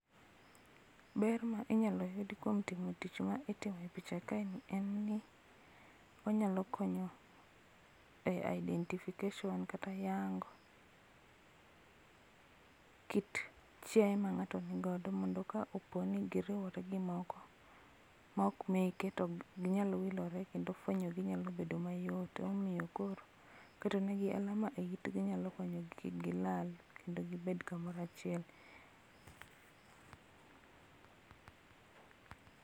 Ber ma inyalo yud kuom timo tich ma itimo e picha kae ni en ni onyalo konyo e identification kata yango kit chiaye ma ng'ato ni godo mondo ka oponi giriwore gi moko maok meke to ok inyal wilore kendo fwenyo gi nyalo bedo mayot. Ema omiyo koro keto negi alama e itgi nyalo konyo kik gilal kendo gibed kamoro achiel